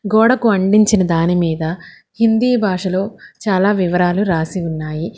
గోడకు అంటించిన దాని మీద హింది భాషాలో చాలా వివరాలు రాసి ఉన్నాయి.